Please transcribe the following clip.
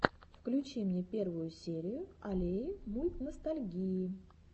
включи мне первую серию аллеи мультностальгии